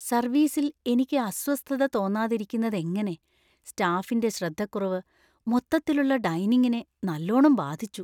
സര്‍വീസില്‍ എനിക്ക് അസ്വസ്ഥത തോന്നാതിരിക്കുന്നതെങ്ങനെ? സ്റ്റാഫിന്‍റെ ശ്രദ്ധക്കുറവ് മൊത്തത്തിലുള്ള ഡൈനിംഗിനെ നല്ലോണം ബാധിച്ചു.